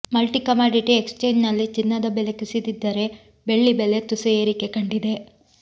multi commodity ಎಕ್ಸ್ಚೇಂಜ್ನಲ್ಲಿ ಚಿನ್ನದ ಬೆಲೆ ಕುಸಿದಿದ್ದರೆ ಬೆಳ್ಳಿ ಬೆಲೆ ತುಸು ಏರಿಕೆ ಕಂಡಿದೆ